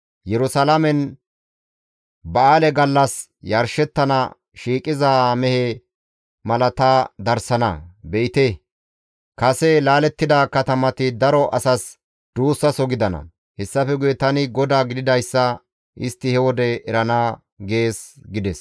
Yerusalaamen ba7aale gallas yarshettana shiiqiza mehe mala ta darsana; be7ite kase laalettida katamati daro asas duussaso gidana; hessafe guye tani GODAA gididayssa istti he wode erana› gees» gides.